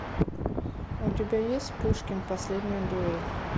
у тебя есть пушкин последняя дуэль